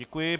Děkuji.